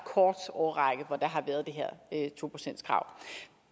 kort årrække hvor der har været det her to procentskrav